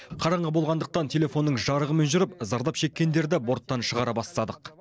қараңғы болғандықтан телефонның жарығымен жүріп зардап шеккендерді борттан шығара бастадық